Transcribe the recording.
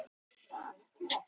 Ísland í faðm einræðisríkis